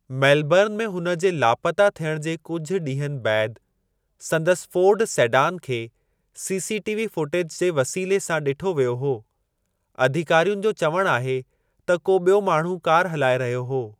Melbourne में हुन जे लापता थियण जे कुझु ॾींहनि बैदि संदसि फ़ोर्ड सेडान खे सीसीटीवी फुटेज जे वसीले सां डि॒ठो वियो हो, अधिकारियुनि जो चवणु आहे त को बि॒यो माण्हू कार हलाए रहियो हो।